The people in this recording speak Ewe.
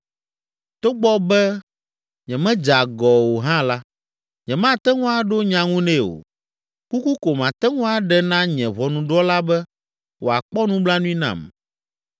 Togbɔ be nyemedze agɔ o hã la, nyemate ŋu aɖo nya ŋu nɛ o. Kuku ko mate ŋu aɖe na nye Ʋɔnudrɔ̃la be wòakpɔ nublanui nam.